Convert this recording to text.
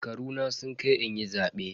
Shekaruna sun kai inyi zabe.